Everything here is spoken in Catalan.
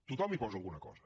tothom hi posa alguna cosa